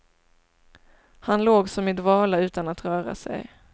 Han låg som i dvala utan att röra sig.